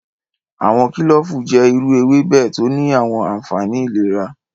Awọn kilofu jẹ iru ewebe to ni awọn anfani ilera.